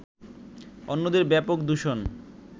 অন্যদের ব্যাপক দূষণ